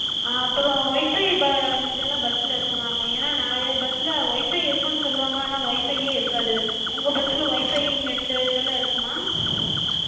ஆஹ் அப்பறோ Wi-Fi இதெல்லா bus சுல இருக்குமாங்க? ஏனா நெறைய bus ல Wi-Fi இருக்குனு சொல்லுவாங்க, ஆனா Wi-Fi யே இருக்காது. உங்க bus சுல Wi-Fi net இதெல்லா இருக்குமா?